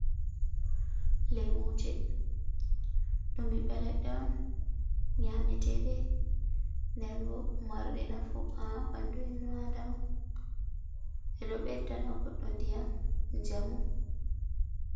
Lemuje: Ɗum ɓiɓɓe leɗɗe on nyameteɗe nden bo marɗi nafu ha ɓandu innu Adama. Ɓeɗo beddana goɗɗo ndiyam, njamu.